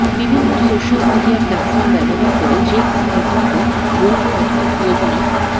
বিভিন্ন social media platform ব্যবহার করে যে কোন মুহূর্তে বন্ধু অথবা প্রিয়জনের